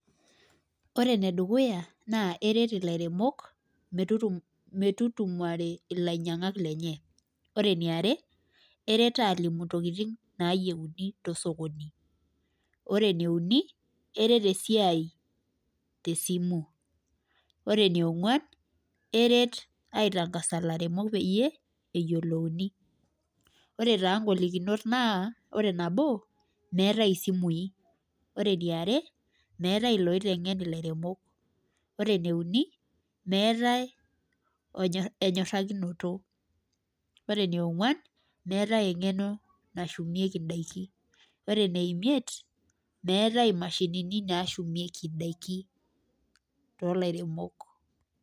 koreee ene dukuyaa naa keret ilaeremok metutumore ileinyangak koree eniare eret alimu intokiting nayieuni too sokoni, koree ene uni keret esiai te simu koree eniongwuan eret aitangasa ilairmok peeyie eyioluani koree ta nkolikinot naa meatai isimui ,koree eniare meataae enkisuma, nemeeaatae loitengeni nematae enyorakinoto nemeatai imashinini na shumieki indaiki oo lairemok